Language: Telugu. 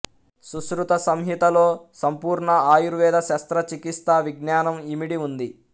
సుశ్రుత సంహితలో సంపూర్ణ ఆయుర్వేద శస్త్రచికిత్సా విజ్ఞానం యిమిడి ఉంది